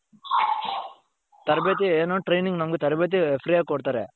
ತರಬೇತಿ ಏನು training ನಮ್ಗೆ ತರಬೇತಿ freeಯಾಗಿ ಕೊಡ್ತಾರೆ.